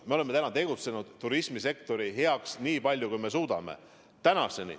Me oleme täna teinud turismisektori heaks nii palju, kui suudame.